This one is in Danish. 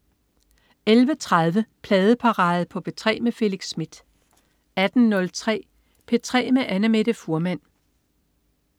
11.30 Pladeparade på P3 med Felix Smith 18.03 P3 med Annamette Fuhrmann